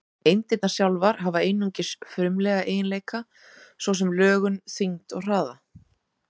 Eindirnar sjálfar hafa einungis frumlega eiginleika, svo sem lögun, þyngd og hraða.